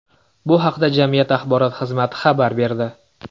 Bu haqda jamiyat axborot xizmati xabar berdi .